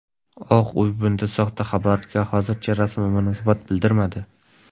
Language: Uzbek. Oq uy bunday soxta xabarga hozircha rasman munosabat bildirmadi.